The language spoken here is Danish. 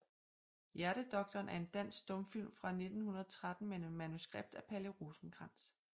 Hjertedoktoren er en dansk stumfilm fra 1913 med manuskript af Palle Rosenkrantz